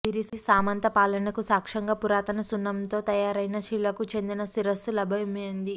వీరి సామంత పాలనకు సాక్ష్యంగా పురాతన సున్నం తో తయారైన శిలకు చెందిన శిరస్సు లభ్యమైం ది